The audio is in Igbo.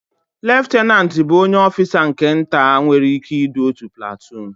Leftanantu bụ onye ọfisa nke nta nwere ị́ké idu otu platuun.